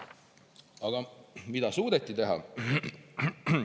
Aga mida on suudetud teha?